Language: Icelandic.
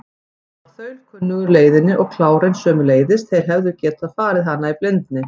Hann var þaulkunnugur leiðinni og klárinn sömuleiðis, þeir hefðu getað farið hana í blindni.